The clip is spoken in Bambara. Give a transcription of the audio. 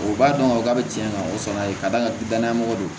O b'a dɔn ka fɔ k'a bɛ tiɲɛ ka o sɔrɔ yen k'a d'a kan danaya mɔgɔ do